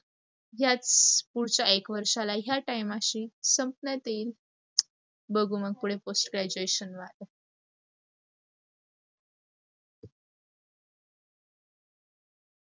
याच पुढच्या एक वर्षाला ह्या time शी संपण्यात येईल. बघू मग पुढे post graduation ला आता.